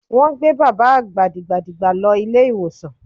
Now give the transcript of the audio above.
Wọ́n gbé bàbá àgbà dìgbàdìgbà lọ ilé ìwòsàn.